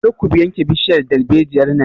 Kar ku yanke bishiyar dalbejiyar nan!